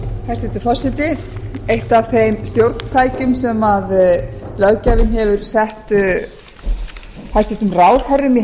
hæstvirtur forseti eitt af þeim stjórntækjum sem löggjafinn hefur sett hæstvirtum ráðherrum í